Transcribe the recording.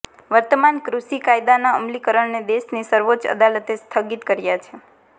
વર્તમાન કૃષિ કાયદાના અમલીકરણને દેશની સર્વોચ્ચ અદાલતે સ્થગિત કર્યો છે